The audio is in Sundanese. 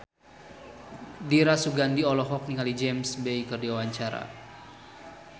Dira Sugandi olohok ningali James Bay keur diwawancara